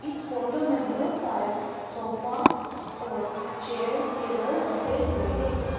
इस फोटो में बहुत सारे सोफा और चेयर टेबल रखे हुए हैं।